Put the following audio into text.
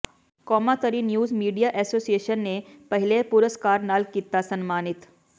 ਕੌਮਾਂਤਰੀ news media association ਨੇ ਪਹਿਲੇ ਪੁਰਸਕਾਰ ਨਾਲ ਕੀਤਾ ਸਨਮਾਨਿਤ